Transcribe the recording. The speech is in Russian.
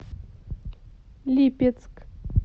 липецк